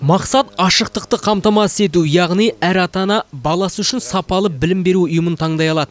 мақсат ашықтықты қамтамасыз ету яғни әр ата ана баласы үшін сапалы білім беру ұйымын таңдай алады